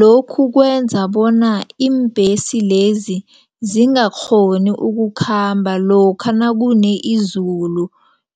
Lokhu kwenza bona iimbhesi lezi zingakghoni ukukhamba lokha nakune izulu